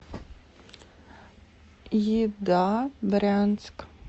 еда брянск